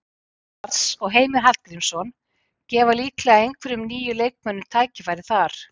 Lars og Heimir Hallgrímsson gefa líklega einhverjum nýjum leikmönnum tækifæri þar.